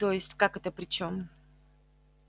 то есть как это при чём